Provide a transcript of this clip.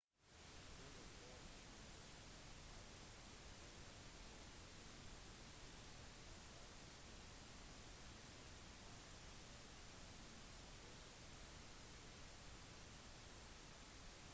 stewart gordon kenseth og harvick utfyller topp-ti stillingene for drivers' championship med fire løp som gjenstår i sesongen